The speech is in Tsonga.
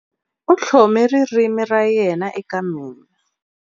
U tlhome ririmi ra yena eka mina.